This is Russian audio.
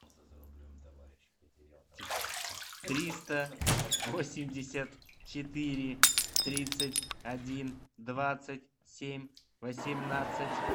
триста восемьдесят четыре тридцать один двадцать семь восемнадцать